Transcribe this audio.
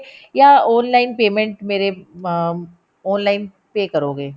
ਜਾਂ online payment ਮੇਰੇ ਅਮ online pay ਕਰੋਗੇ